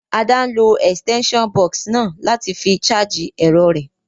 Ada n lo extension box náà láti fi charge èrọ rẹ́